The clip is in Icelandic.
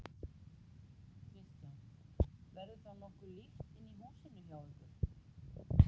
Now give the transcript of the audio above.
Kristján: Verður þá nokkuð líft inni í húsinu hjá ykkur?